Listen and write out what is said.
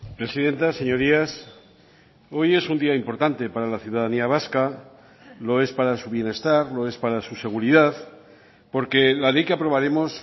presidenta señorías hoy es un día importante para la ciudadanía vasca lo es para su bienestar lo es para su seguridad porque la ley que aprobaremos